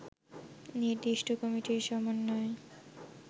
নির্দিষ্ট কমিটির সমন্বয়